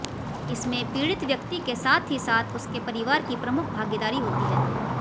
इसमें पीड़ित व्यक्ति के साथ ही साथ उसके परिवार की प्रमुख भागीदारी होती है